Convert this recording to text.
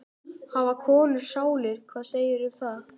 Hafa konur sálir, hvað segirðu um það?